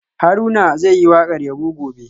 Haruna zai yi wakar yabo gobe